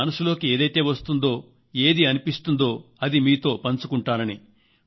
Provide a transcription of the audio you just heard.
మనసులోకి ఏదైతే వస్తుందో ఏది అనిపిస్తుందో అదే నేను మీతో పంచుకుంటానని